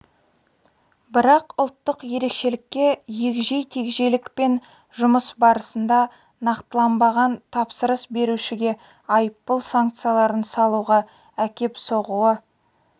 бірақ ұлттық ерекшелікке егжей тегжейлік пен жұмыс барысында нақтыланбаған тапсырыс берушіге айыппұл санкцияларын салуға әкеп соғуы